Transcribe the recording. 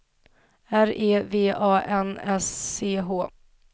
R E V A N S C H